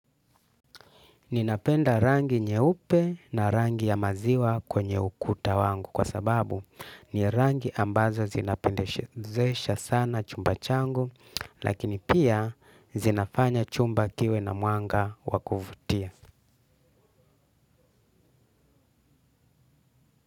Ninapenda rangi nyeupe na rangi ya maziwa kwenye ukuta wangu kwa sababu ni rangi ambazo zinapendezesha sana chumba changu lakini pia zinafanya chumba kiwe na mwanga wakuvutia.